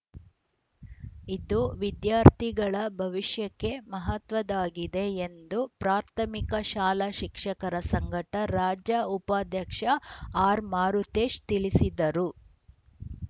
ಇದು ವಿದ್ಯಾರ್ಥಿಗಳ ಭವಿಷ್ಯಕ್ಕೆ ಮಹತ್ವದಾಗಿದೆ ಎಂದು ಪ್ರಾಥಮಿಕ ಶಾಲಾ ಶಿಕ್ಷಕರ ಸಂಘದ ರಾಜ್ಯ ಉಪಾಧ್ಯಕ್ಷ ಆರ್‌ ಮಾರುತೇಶ್‌ ತಿಳಿಸಿದರು